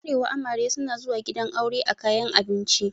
A arewa amare suna zuwa gidan aure a kayan abinci.